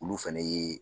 Olu fɛnɛ ye